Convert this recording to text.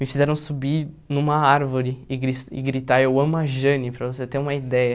Me fizeram subir numa árvore e gris e gritar, eu amo a Jane, para você ter uma ideia.